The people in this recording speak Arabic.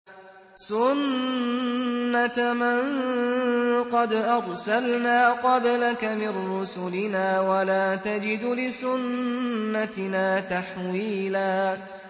سُنَّةَ مَن قَدْ أَرْسَلْنَا قَبْلَكَ مِن رُّسُلِنَا ۖ وَلَا تَجِدُ لِسُنَّتِنَا تَحْوِيلًا